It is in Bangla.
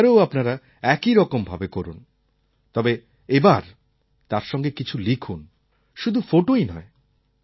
এবারেও আপনারা একইরকম ভাবে করুন তবে এবার তার সঙ্গে কিছু লিখুন শুধু ফোটোই নয়